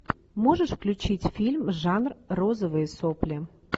можешь включить фильм жанр розовые сопли